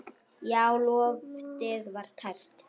Já, loftið var tært.